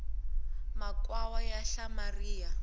makhwaya ya hlamaria